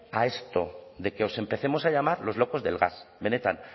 a esto de que os empecemos a llamar los locos del gas benetan